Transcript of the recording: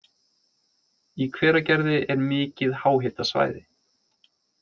Í Hveragerði er mikið háhitasvæði.